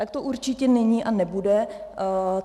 Tak to určitě není a nebude.